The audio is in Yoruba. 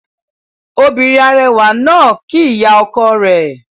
Obìnrin arẹwà náà kíí ìyá ọkọ rẹ̀